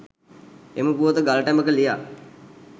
එම පුවත ගල් ටැඹක ලියා